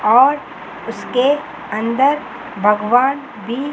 और उसके अंदर भगवान भी --